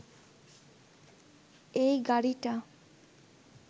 এই গাড়িটা